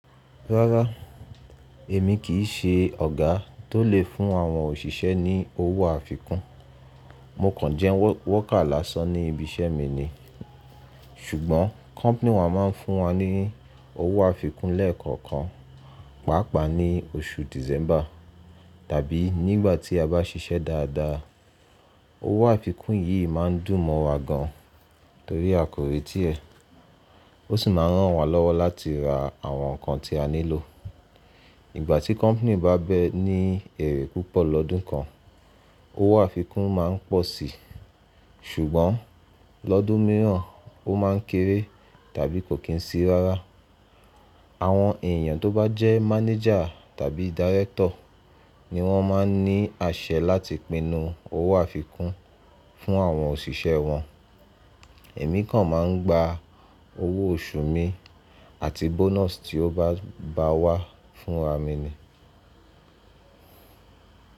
Rárá, èmi kì í ṣe ọ̀gá tó lè fún àwọn òṣìṣẹ́ ní owó àfikún, mo kàn jẹ wọ́kà lásán ní ibi iṣẹ́ mi ni. Ṣùgbọ́n company wa máa ń fún wa ní owó àfikún lẹ́ẹ̀kọ̀kan, pàápàá ní oṣù December tàbí nígbà tí a bá ṣiṣẹ́ dáadáa. Owó àfikún yìí má ń dùn mọ́ wa gan, torí a kò reti ẹ́. Ó sì máa ń rán wa lọ́wọ́ láti ra àwọn nǹkan tí a nílò. Ìgbà tí company bá bẹ́ ní èrè púpọ̀ lọ́dún kan, owó àfikún má ń pọ̀ síi. Ṣùgbọ́n lọ́dún mìíràn, ó máa ń kéré tàbí kò kín sí i rárá. Àwọn èèyàn tó bá jẹ́ manager tàbí director ni wọ́n máa ń ní àṣẹ láti pinu owó àfikún fún àwọn òṣìṣẹ́ wọn. Èmi kàn má ń gba owó oṣù mi àti bonus tí ó bá wá fún ra mi ni.